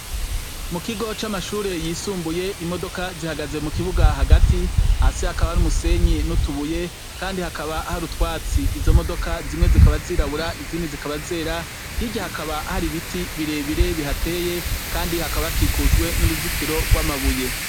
Mu kigo c'amashure yisumbuye imodoka zihagaze mu kibuga hagati, hasi hakaba hari umusenyi n'utubuye Kandi hakaba hari utwatsi, izo modoka zimwe zikaba zirabura izindi zikaba zera, hirya hakaba hari ibiti birebire bihateye Kandi hakaba hakikujwe n'uruzitiro gwamabuye.